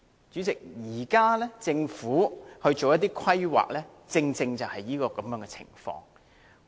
主席，現時政府作出規劃時，正是這樣的情況。